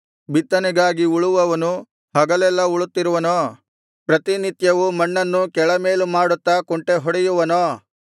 ಬಿತ್ತನೆಗಾಗಿ ಉಳುವವನು ಹಗಲೆಲ್ಲಾ ಉಳುತ್ತಿರುವನೋ ಪ್ರತಿನಿತ್ಯವೂ ಮಣ್ಣನ್ನು ಕೆಳಮೇಲು ಮಾಡುತ್ತಾ ಕುಂಟೆಹೊಡೆಯುವನೋ